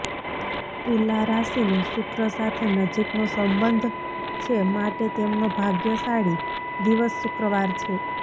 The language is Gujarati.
તુલા રાશીનો શુક્ર સાથે નજીકનો સંબંધ છે માટે તેમનો ભાગ્યશાળી દિવસ શુક્રવાર છે